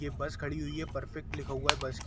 ये बस खड़ी हुई है परफेक्ट लिखा हुआ है।